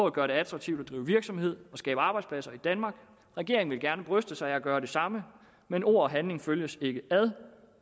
at gøre det attraktivt at drive virksomhed og skabe arbejdspladser i danmark regeringen vil gerne bryste sig af at gøre det samme men ord og handling følges ikke ad